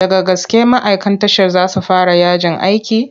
Daga gaske ma'aikan tashar za su fara yajin aiki?